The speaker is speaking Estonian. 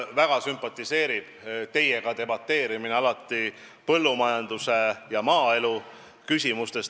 Mulle sümpatiseerib väga ka teiega debateerimine põllumajanduse ja maaelu küsimustes.